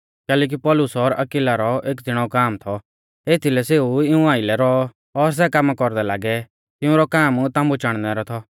कैलैकि पौलुस और अक्विला रौ एक ज़िणौ काम थौ एथीलै सेऊ इऊं आइलै रौऔ और सै कामा कौरदै लागै तिऊंरौ काम ताम्बु चाणनै रौ थौ